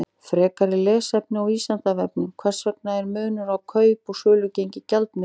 Frekara lesefni á Vísindavefnum: Hvers vegna er munur á kaup- og sölugengi gjaldmiðla?